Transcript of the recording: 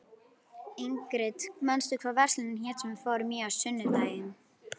Ingrid, manstu hvað verslunin hét sem við fórum í á sunnudaginn?